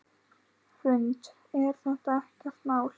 Hrund: Er þetta ekkert mál?